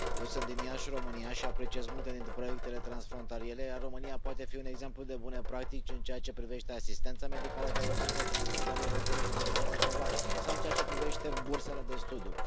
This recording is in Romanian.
Eu sunt din Iași, România, și apreciez multe dintre proiectele transfrontaliere, iar România poate fi un exemplu de bune practici în ceea ce privește asistența medicală de urgență transfrontalieră cu Republica Moldova sau în ceea ce privește bursele de studiu.